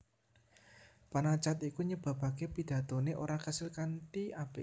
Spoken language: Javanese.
Panacad iku nyebabaké pidatoné ora kasil kanthi apik